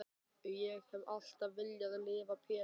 Ég hef alltaf viljað lifa Pétur.